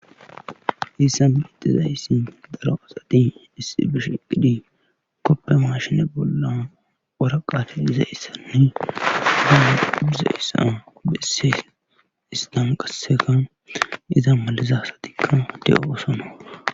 Haysa milezan daro asati issi bishiqqidi koppe maashine bolla oraqafe iza issanne humu ubuzeyssa bessee istan qasseka iza malizasatikka de7osona